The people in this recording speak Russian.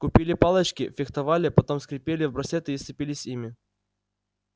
купили палочки фехтовали потом скрепили в браслеты и сцепились ими